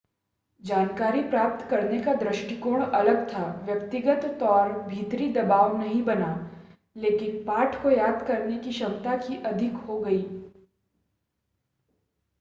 जानकारी प्राप्त करने का दृष्टिकोण अलग था व्यक्तिगत तौर भीतरी दबाव नहीं बना लेकिन पाठ को याद करने की क्षमता की अधिक हो गई